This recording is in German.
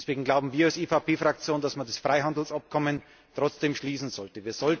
Und deshalb glauben wir als EVP Fraktion, dass man das Freihandelsabkommen trotzdem schließen sollte.